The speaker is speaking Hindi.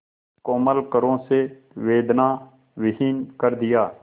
कोमल करों से वेदनाविहीन कर दिया